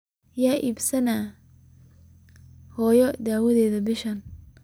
Yaa iibsada hooyada daawada bishaan?